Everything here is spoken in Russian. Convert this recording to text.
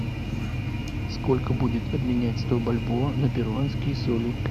сколько будет обменять сто бальбоа на перуанские соли